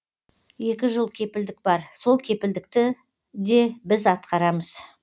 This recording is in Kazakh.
екі жыл кепілдік бар сол кепілдікті де біз атқарамыз